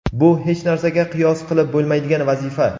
Bu — hech narsaga qiyos qilib bo‘lmaydigan vazifa.